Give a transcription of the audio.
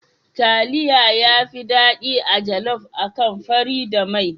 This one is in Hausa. Taliya yafi daɗi a jaluf akan fari da mai.